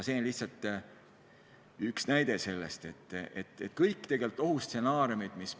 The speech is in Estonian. See on lihtsalt üks näide ohustsenaariumist.